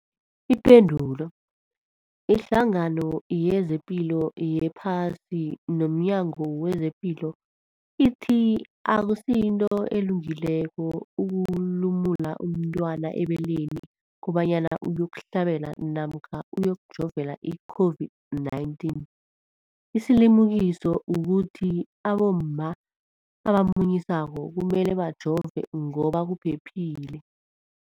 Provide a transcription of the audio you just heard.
Ipendulo, iHlangano yezePilo yePhasi nomNyango wezePilo ithi akusinto elungileko ukulumula umntwana ebeleni kobanyana uyokuhlabela namkha uyokujovela i-COVID-19. Isilimukiso kukuthi abomma abamunyisako kumele bajove ngoba kuphephile.